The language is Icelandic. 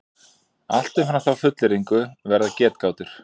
Allt umfram þá fullyrðingu verða getgátur.